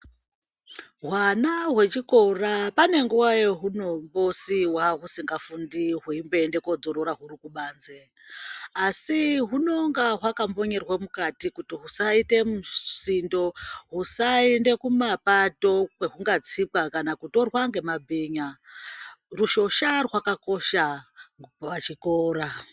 Hwana hwechikora pane nguwa yehunombosiiwa husingafundi ,hwembo ende kodzorora huri kubanzi, asi hunonga hwakakonyerwa mukati, kuti husaite musindo , husaende kumapato kana kutorwa ngemabhinya, rushosha rwakakosha pachikora.